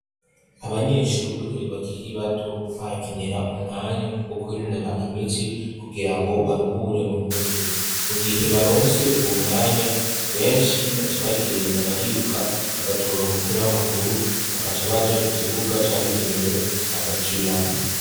Abanyeshure bakiri bato, barakenera umwanya wo kwinonora imitsi kugira ngo baruhure mu mutwe. Mu gihe baronse uwo mwanya benshi baca bagenda bariruka bagatora umupira w'amaguru, bagaca baja ku kibuga cabigenewe bagakina.